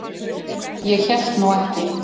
Ég hélt nú ekki.